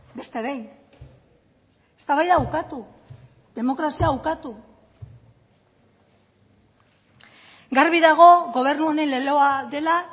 beste behin eztabaida ukatu demokrazia ukatu garbi dago gobernu honen leloa dela